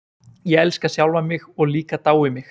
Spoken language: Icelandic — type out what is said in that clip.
Ég elska sjálfan mig og líka dái mig.